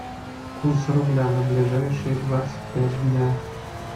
курс рубля на ближайшие двадцать пять дня